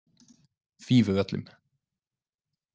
Fífuvöllum